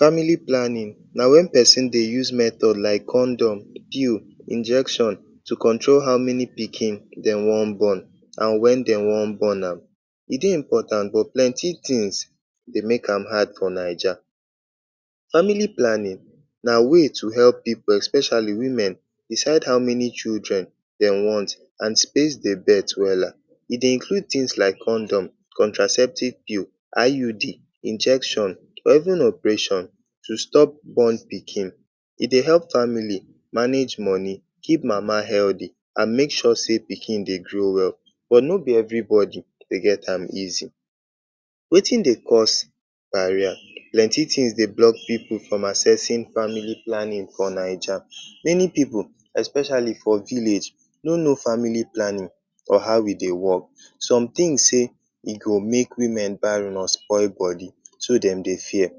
Family planning na wen pesin dey use method like condom, pill, injection to control how many pikin dem wan born and wen dem wan born am. E dey important but plenty tins dey make am hard for Naija. Family planning na way to help pipu especially women decide how many children dem wan and space di birth wella. E dey include tins like condom, contraceptive pill, IUD, injection or even operation to stop born pikin. E dey help family manage moni, keep mama healthy and make sure say pikin dey grow well but no be evribodi dey get am easy. Wetin dey cause barrier? Plenty tins dey block pipu from accessing family planning for Naija. Many pipu especially for village no sabi family planning or how e dey wok. Some tin say e go make women barren, so dem dey fear.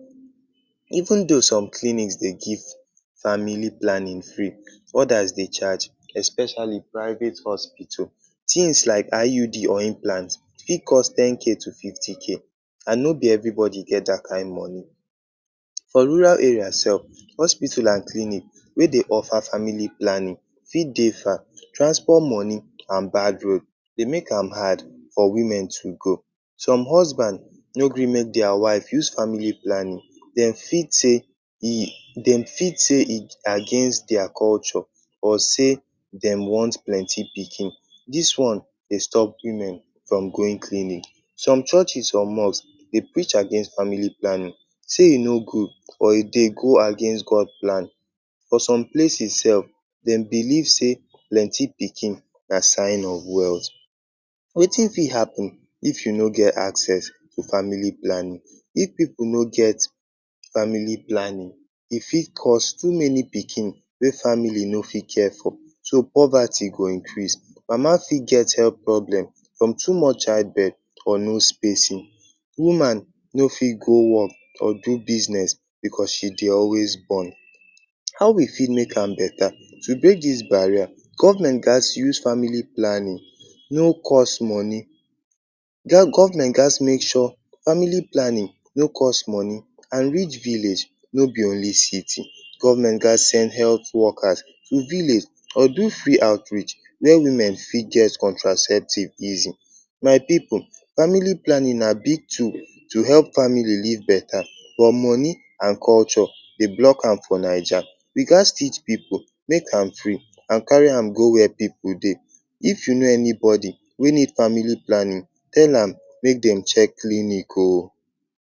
Even though some clinics dey give family planning free, odas dey charge especially private hospital. Tins like IUD or implant fit cost 10k to 50k and no be evribodi get dat kain moni. For rural area sef, hospital and clinic wey dey offer family planning fit dey far. Transport moni and bad road dey make am hard for women to go. Some husband no gree make dia wife use family planning. Dem fit say e dem fit say e against dia culture but say dem wan plenty pikin. Dis one dey stop women from going clinic. Some churches or mosque dey preach against family planning say e no good or e dey go against God plan. For some places sef, dem believe say plenty pikin na sign of wealth. Wetin fit happun if you no get access to family planning? If pipu no get family planning e fit cause too many pikin wey family no fit care for so poverty go increase. Mama fit get health problem from too much childbirth or no spacing. Woman no fit go wok or do business bicos she dey always born. How we fit make am betta? To break dis barrier government gats use family planning no cost moni government gats make sure family planning no cost moni and reach village no be only city. Government gats send health workers to village or do free outreach wia women fit get contraceptive easy. My pipu family planning na big tool to help family lead betta but moni and culture dey block am for Naija. We gats teach pipu, make am free and carry am go wia pipu dey. If you know anybodi wey need family planning tell am make dem check clinic oh.